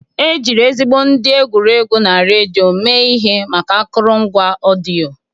Ejiri ezigbo ndị egwuregwu na redio mee ihe maka akụrụngwa ọdịyo.